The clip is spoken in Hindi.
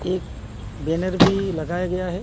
एक बैनर भी लगाया गया है।